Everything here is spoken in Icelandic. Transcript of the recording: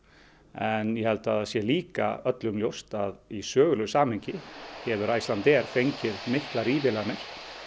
en ég held að það sé líka öllum ljóst að í sögulegu samhengi hefur Icelandair fengið miklar ívilnanir